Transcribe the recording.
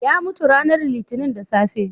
Ya mutu ranar Litinin da safe.